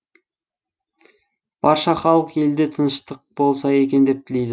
барша халық елде тыныштық болса екен деп тілейді